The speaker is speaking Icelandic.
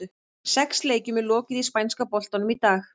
Sex leikjum er lokið í spænska boltanum í dag.